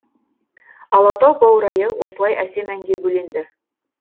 алатау баурайы осылай әсем әнге бөленді